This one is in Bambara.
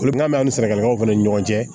Kolonkɛ bɛ ni sɛnɛkɛlaw fana ni ɲɔgɔn cɛ